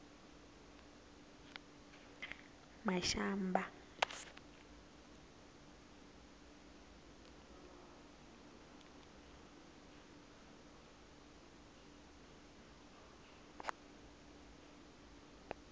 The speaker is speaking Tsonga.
mashamba